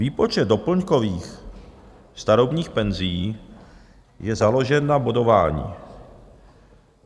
Výpočet doplňkových starobních penzí je založen na bodování.